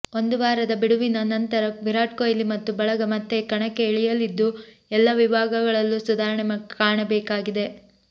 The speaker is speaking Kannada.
ಒಂದು ವಾರದ ಬಿಡುವಿನ ನಂತರ ವಿರಾಟ್ ಕೊಹ್ಲಿ ಮತ್ತು ಬಳಗ ಮತ್ತೆ ಕಣಕ್ಕೆ ಇಳಿಯಲಿದ್ದು ಎಲ್ಲ ವಿಭಾಗಗಳಲ್ಲೂ ಸುಧಾರಣೆ ಕಾಣಬೇಕಾಗಿದೆ